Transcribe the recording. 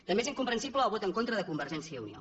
també és incomprensible el vot en contra de convergència i unió